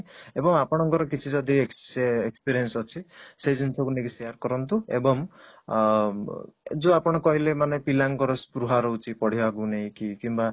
ଏବଂ ଆପଣଙ୍କର କିଛି ଯଦି experience ଅଛି ସେ ଜିନିଷ କୁ ନେଇକି ସେ ସେଇୟା କରନ୍ତୁ ଏବଂ ଅଂ ଯୋଉ ଆପଣ କହିଲେ ମାନେ ପିଲା ଙ୍କର ସ୍ପୃହା ରହୁଛି ପଢିବାକୁ ନେଇକି କିମ୍ବା